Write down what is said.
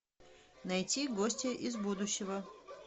найти гостья из будущего